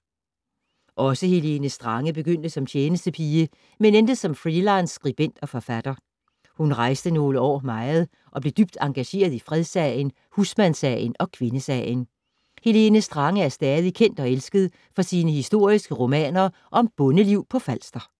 Også Helene Strange begyndte som tjenestepige, men endte som freelance skribent og forfatter. Hun rejste nogle år meget og blev dybt engageret i fredssagen, husmandssagen og kvindesagen. Helene Strange er stadig kendt og elsket for sine historiske romaner om bondeliv på Falster.